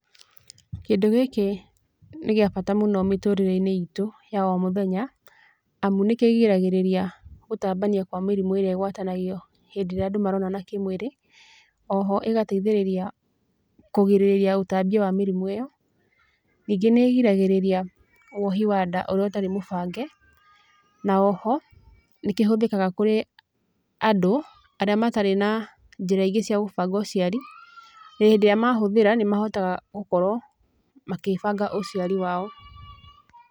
Kĩndũ gĩkĩ, nĩgĩabata mũno mĩtũrĩreinĩ itũ, ya o mũthenya, amu nĩkĩgiragĩrĩria, gũtambania kwa mĩrimu ĩrĩa ĩgwatanagio, hĩndirĩa andũ maronana kĩmwĩrĩ, oho ĩgateithĩrĩria, kũgirĩrĩria ũtambania wa mĩrimũ ĩyo, ningĩ nĩgiragĩrĩria, wohi wa nda ũrĩa ũtarĩ mũbange, na oho, nĩkĩhũthĩkaga kũrĩ, andũ, arĩa matarĩ na, njĩra ingĩ cia gũbanga ũciari, na hĩndĩrĩa mahũthĩra nĩmahotaga gũkorũo, magĩbanga ũciari wao.